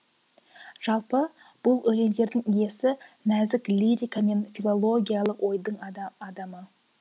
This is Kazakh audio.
жалпы бұл өлеңдердің иесі нәзік лирика мен филологиялық ойдың адамы